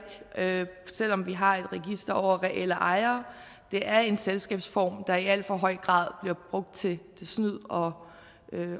selv om vi har et register over reelle ejere det er en selskabsform der i alt for høj grad bliver brugt til snyd og